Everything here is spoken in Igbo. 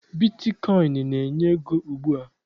Bitkọịn na-enye ego ugbua